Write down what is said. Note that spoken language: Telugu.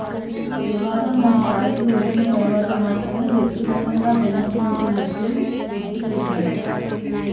వివాదం ఓ స్థాయికి వచ్చిన తర్వాత మాత్రమే వ్యక్తిగతంగా విమర్శించినట్టు గుర్తు చేశాడు